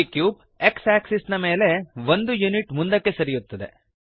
ಈ cube x axis ನ ಮೇಲೆ 1 ಯೂನಿಟ್ ಮುಂದಕ್ಕೆ ಸರಿಯುತ್ತದೆ